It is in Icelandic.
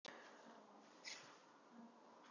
En hvað þýðir svona fyrirvari?